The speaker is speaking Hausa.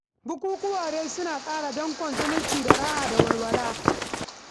Bukukuwa dai suna ƙara danƙon zumunci da sanya raha da walwala.